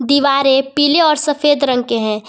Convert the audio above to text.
दीवारें पीले और सफेद रंग के है।